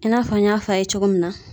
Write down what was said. I n'a fɔ n y'a fɔ a ye cogo min na .